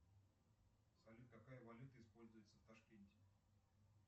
салют какая валюта используется в ташкенте